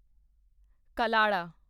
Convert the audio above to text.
ਕੱਲੜਾ